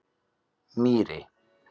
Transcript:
Mýri